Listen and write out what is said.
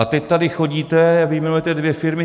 A teď tady chodíte a vyjmenujete dvě firmy.